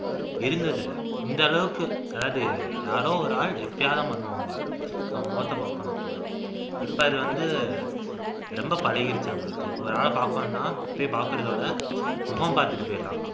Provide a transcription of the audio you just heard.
இருந்ததில்லை இந்த அளவுக்கு அதாவது யாரோ ஒரு ஆள் எப்பயாவதுதான் பண்ணுவாங்க இப்ப அது வந்து ரொம்ப பழகிருச்சு